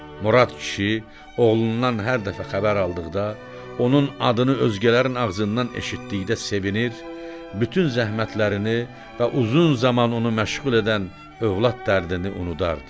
Murad kişi oğlundan hər dəfə xəbər aldıqda, onun adını özgələrin ağzından eşitdikdə sevinir, bütün zəhmətlərini və uzun zaman onu məşğul edən övlad dərdini unudardı.